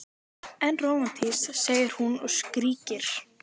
En rómantískt, segir hún og skríkir.